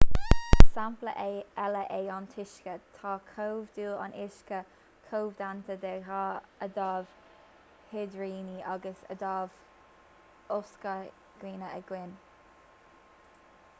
is sampla eile é an t-uisce tá comhdhúil an uisce comhdhéanta de dhá adamh hidrigine agus adamh ocsaigine amháin